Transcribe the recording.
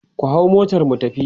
ku hau motar mu tafi!